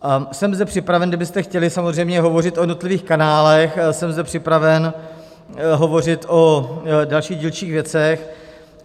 Jsem zde připraven, kdybyste chtěli samozřejmě hovořit o jednotlivých kanálech, jsem zde připraven hovořit o dalších dílčích věcech.